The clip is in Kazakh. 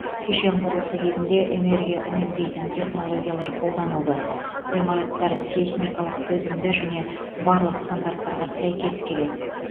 кешен құрылысы кезінде энергия үнемдейтін технологиялар қолданылды ғимараттар сейсмикалық төзімді және барлық стандарттарға сәйкес келеді